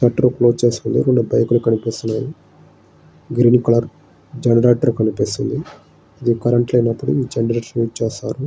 Shelter close చేసివుంది రెండు bike లు కనిపిస్తున్నాయి గ్రీన్ కలర్ జనరేటర్ కనిపిస్తున్నది కరెంటు లేని అప్పుడు జనరేటర్ ఉస్ చేస్తారు.